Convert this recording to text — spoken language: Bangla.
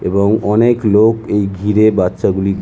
এবং অনেক লোক এই ঘিরে বাচ্চাগুলি --